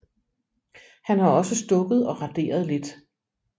Han har også stukket og raderet lidt